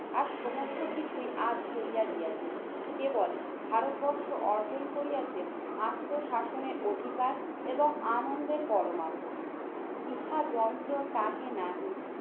আর সমস্ত কিছুই আজ চলিয়া গিয়াছে কেবল ভারতবর্ষ অর্জন করিয়াছে আত্মশাসনের অধিকার এবং আনন্দের পরমাত্মা। ইহা যন্ত্র তাহে নাহি